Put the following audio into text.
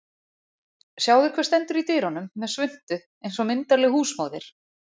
Sjáðu hver stendur í dyrunum með svuntu eins og myndarleg húsmóðir